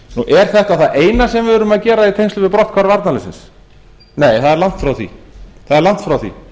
er þetta það eina sem við erum að gera í tengslum við brotthvarf varnarliðsins nei það er langt frá því